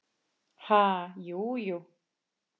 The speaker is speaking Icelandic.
Ha, jú, jú